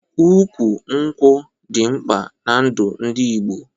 Ụkwụ nkwụ dị mkpa n'ndu ndị Igbo